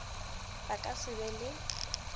ba ka se be le